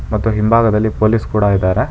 ಮತ್ತು ಹಿಂಭಾಗದಲ್ಲಿ ಪೊಲೀಸ್ ಕೂಡ ಇದ್ದಾರೆ.